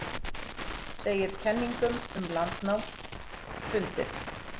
Segir kenningum um landnám hrundið